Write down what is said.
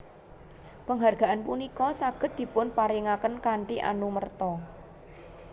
Penghargaan punika saged dipunparingaken kanthi anumerta